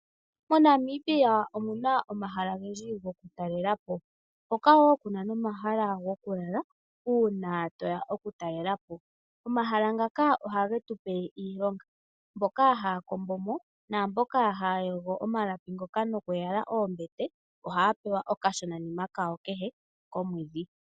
MoNamibia omuna omahala ogendji gokutalelapo, hoka woo kuna nomahala gokulala uuna toya okutalelelapo. Omahala ngaka ohage tu pe iilonga, mboka haya kombomo naambyoka haya yogo omalapi ngoka nokuyala oombete ohaya pewa okashonanima kehe komwedhi.